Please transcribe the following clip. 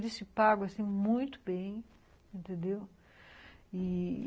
E eles te pagam, assim, muito bem, entendeu? E